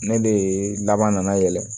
Ne de ye laban nana yɛlɛ